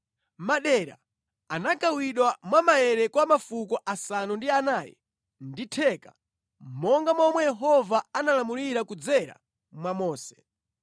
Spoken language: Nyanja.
Madera anagawidwa mwa maere kwa mafuko asanu ndi anayi ndi theka, monga momwe Yehova analamulira kudzera mwa Mose.